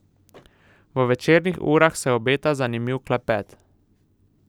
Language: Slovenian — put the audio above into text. V večernih urah se obeta zanimiv klepet.